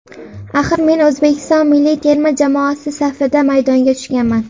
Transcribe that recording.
Axir men O‘zbekiston milliy terma jamoasi safida maydonga tushganman”.